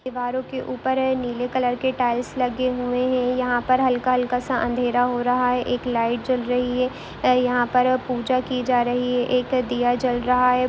दीवारों के ऊपर है नीले कलर के टाइल्स लगे हुए हैं यहाँ पर हल्का -हल्का -सा अँधेरा हो रहा है एक लाइट जल रही है ऐ यहाँ पर अब पूजा की जा रही है एक दिया जल रहा है।